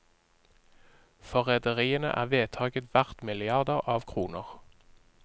For rederiene er vedtaket verd milliarder av kroner.